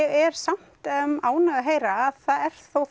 er samt ánægð að heyra að það er þó